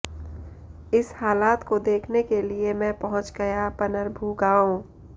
इस हालात को देखने के लिए मैं पहुँच गया पनरभू गाँव